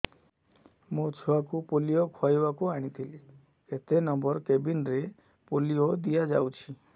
ମୋର ଛୁଆକୁ ପୋଲିଓ ଖୁଆଇବାକୁ ଆଣିଥିଲି କେତେ ନମ୍ବର କେବିନ ରେ ପୋଲିଓ ଦିଆଯାଉଛି